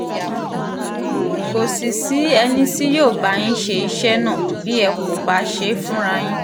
kò sì sí ẹni tí yóò bá yín ṣiṣẹ́ náà bí ẹ kò bá ṣe é fúnra yín